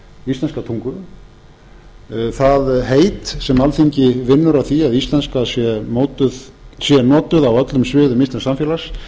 íslenska tungu það heit sem alþingi vinnur að því að íslenska sé notuð á öllum sviðum íslensks samfélags